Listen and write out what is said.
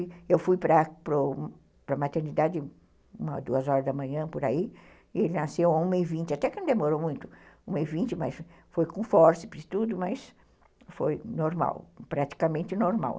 Eu fui para a maternidade umas duas horas da manhã, por aí, e ele nasceu a uma e vinte, até que não demorou muito, uma e vinte, mas foi com fórceps e tudo, mas foi normal, praticamente normal.